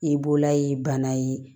I b'ola ye bana ye